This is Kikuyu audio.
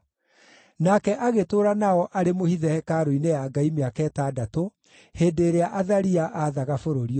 Nake agĩtũũra nao arĩ mũhithe hekarũ-inĩ ya Ngai mĩaka ĩtandatũ, hĩndĩ ĩrĩa Athalia aathaga bũrũri ũcio.